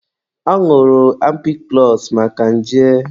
Ọ ñụrụ ampikụlọsụ maka nje.